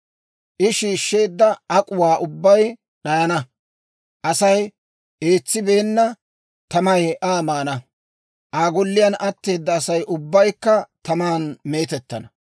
«I shiishsheedda ak'uwaa ubbay d'ayana; Asay eetsibeenna tamay Aa maana; Aa golliyaan atteeda Asay ubbaykka taman meetettana.